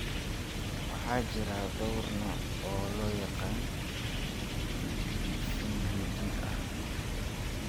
Waxaa jira dhowr nooc oo la yaqaan oo CJD ah.